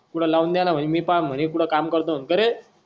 कुठे लावून द्याना म्हणे मी पहा कुढे काम करतो का रे